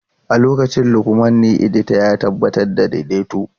A lokacin Lukman na edita, ya tabbatar da daidaito.